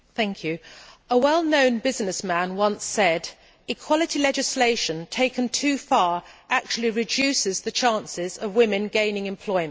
Madam President, a well known businessman once said equality legislation, taken too far, actually reduces the chances of women gaining employment.